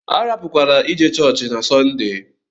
Arapukwala ije chọọchị na Sọnde!